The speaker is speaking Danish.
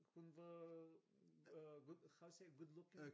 Hun var good how you say good looking?